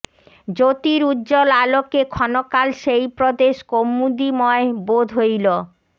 জ্যোতির উজ্জ্বল আলোকে ক্ষণকাল সেই প্রদেশ কৌমুদীময় বোধ হইল